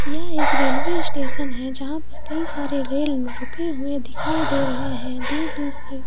यह एक railway station है जहा पर कई सारे रेल रुके हुए दिखाई दे रहे है दूर-दूर तक--